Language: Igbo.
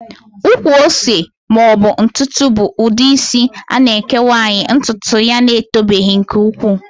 Ụkwụ ose maọbụ ntukwu bụ ụdị isi a na-eke nwaanyị ntụtụ ya etobeghị nke ukwuu